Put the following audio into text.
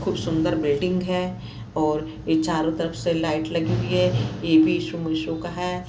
खुब सुंदर बिल्डिंग हैं और चारों तरफ से लाइट लगी हुई हैं का हैं।